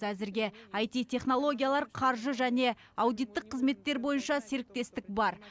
әзірге айти технологиялар қаржы және аудиттік қызметтер бойынша серіктестік бар